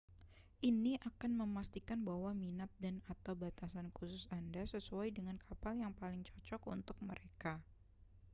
ini akan memastikan bahwa minat dan/atau batasan khusus anda sesuai dengan kapal yang paling cocok untuk mereka